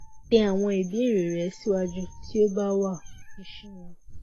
tẹ awọn ibeere rẹ siwaju ti o ba wao ṣeun